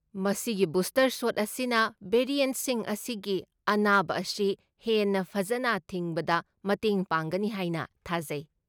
ꯃꯁꯤꯒꯤ booster shot ꯑꯁꯤꯅ ꯚꯦꯔꯤꯦꯟꯠꯁꯤꯡ ꯑꯁꯤꯒꯤ ꯑꯅꯥꯕ ꯑꯁꯤ ꯍꯦꯟꯅ ꯐꯖꯅ ꯊꯤꯡꯕꯗ ꯃꯇꯦꯡ ꯄꯥꯡꯒꯅꯤ ꯍꯥꯏꯅ ꯊꯥꯖꯩ꯫